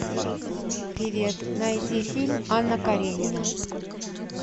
привет найди фильм анна каренина